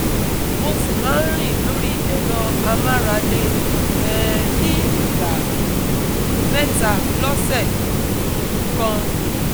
Mo sì ma ń rìn lori ẹ̀rọ amárale um ní ìgbà um mẹ́ta lọ́sẹ̀ um kan